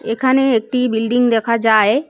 এখানে একটি বিল্ডিং দেখা যায়।